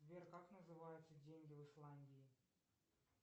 сбер как называются деньги в исландии